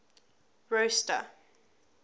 rosta